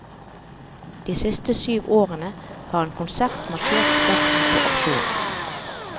De siste syv årene har en konsert markert starten på aksjonen.